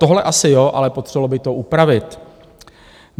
Tohle asi jo, ale potřebovalo by to upravit.